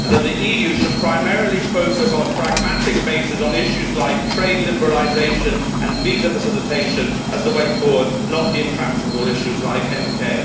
The EU should primarily focus on a pragmatic basis on issues like trade liberalisation and visa facilititation as the way forward, not the intractable issues like NK.